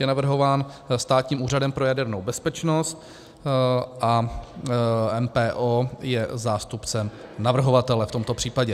Je navrhován Státním úřadem pro jadernou bezpečnost a MPO je zástupcem navrhovatele v tomto případě.